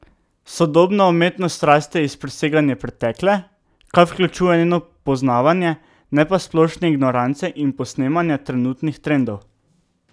Sodobna umetnost raste iz preseganja pretekle, kar vključuje njeno poznavanje, ne pa splošne ignorance in posnemanja trenutnih trendov.